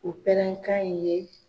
O pɛrɛn kan in ye